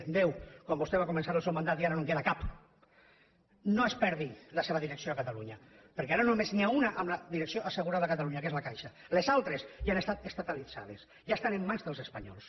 deu quan vostè va començar el seu mandat i ara no en queda cap no es perdi la seva direcció a catalunya perquè ara només n’hi ha una amb la direcció assegurada a catalunya que és la caixa les altres ja han estat estatalitzades ja estan en mans dels espanyols